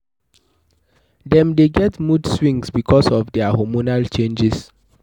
Dem dey get mood swings because of their hormonal changes